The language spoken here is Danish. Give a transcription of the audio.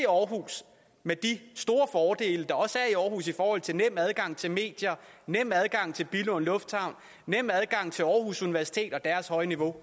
aarhus med de store fordele der også er i aarhus i forhold til en nem adgang til medier nem adgang til billund lufthavn nem adgang til aarhus universitet og deres høje niveau